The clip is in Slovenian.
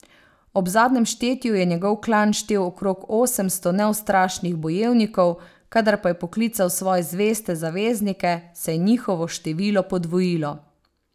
Ob zadnjem štetju je njegov klan štel okrog osemsto neustrašnih bojevnikov, kadar pa je poklical svoje zveste zaveznike, se je njihovo število podvojilo.